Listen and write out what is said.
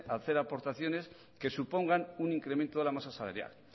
hacer aportaciones que supongan un incremento de la masa salarial